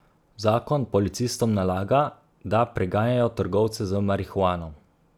Zakon policistom nalaga, da preganjajo trgovce z marihuano.